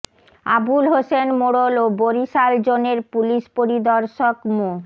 আবুল হোসেন মোড়ল ও বরিশাল জোনের পুলিশ পরিদর্শক মো